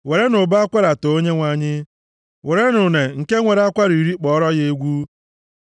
Werenụ ụbọ akwara too Onyenwe anyị; werenụ une nke nwere akwara iri kpọọrọ ya egwu.